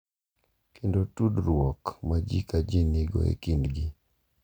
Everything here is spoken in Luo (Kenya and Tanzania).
Kendo tudruok ma ji ka ji nigo e kindgi e kind ogandagi.